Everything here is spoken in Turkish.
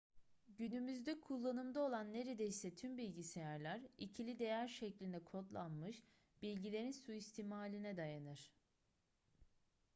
günümüzde kullanımda olan neredeyse tüm bilgisayarlar ikili değer şeklinde kodlanmış bilgilerin suistimaline dayanır